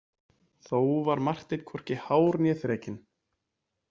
Þó var Marteinn hvorki hár né þrekinn.